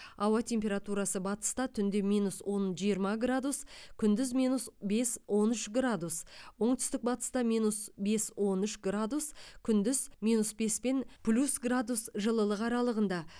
ауа температурасы батыста түнде минус он жиырма градус күндіз минус бес он үш градус оңтүстік батыста минус бес он үш градус күндіз минус бес пен плюс градус жылылық аралығында